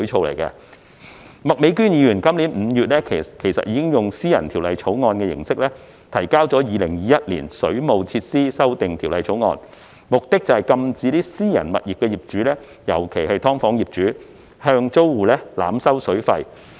麥美娟議員今年5月以私人條例草案形式提交《2021年水務設施條例草案》，目的是禁止私人物業的業主，尤其是"劏房"業主向租戶濫收水費。